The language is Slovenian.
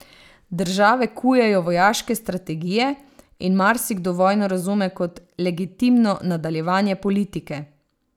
Države kujejo vojaške strategije in marsikdo vojno razume kot legitimno nadaljevanje politike.